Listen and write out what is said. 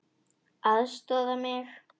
LÁRUS: Aðstoða mig!